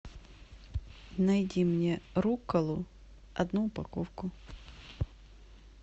найди мне рукколу одну упаковку